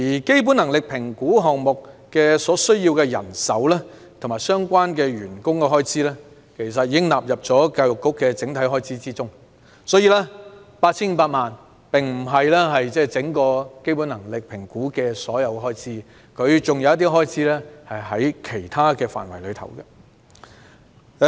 基本能力評估項目所需人手和相關開支，其實已納入教育局的整體預算開支內，因此，這筆 8,500 萬元的預算開支並非基本能力評估項目的開支總額，有部分在這個項目下的開支被納入其他範疇。